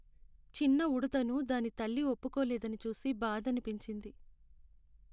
చిన్న ఉడుతను దాని తల్లి ఒప్పుకోలేదని చూసి బాధనిపించింది.